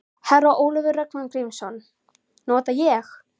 Herra Ólafur Ragnar Grímsson: Nota ég?